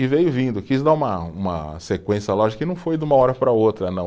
E veio vindo, quis dar uma uma sequência lógica, que não foi de uma hora para outra, não.